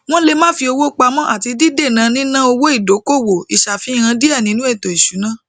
wọn le ma fi owo pamó ati dídèna níná owó ìdọkowọ ìṣàfihàn diẹ nínú ètò ìṣúná